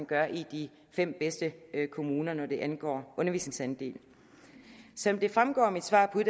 gør i de fem bedste kommuner når det angår undervisningsdel som det fremgår af mit svar på